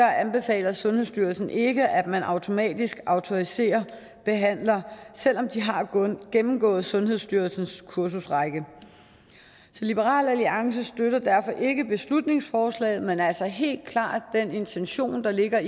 anbefaler sundhedsstyrelsen ikke at man automatisk autoriserer behandlere selv om de har gennemgået sundhedsstyrelsens kursusrække så liberal alliance støtter derfor ikke beslutningsforslaget men støtter altså helt klart den intention der ligger